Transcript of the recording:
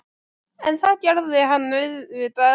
En það gerði hann auðvitað ekki.